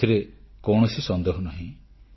ଏଥିରେ କୌଣସି ସନ୍ଦେହ ନାହିଁ